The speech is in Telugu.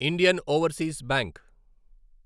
Indian Overseas bank